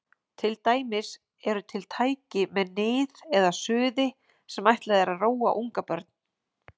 Til dæmis eru til tæki með nið eða suði sem ætlað er að róa ungbörn.